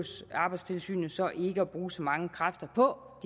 arbejdstilsynet så ikke at bruge så mange kræfter på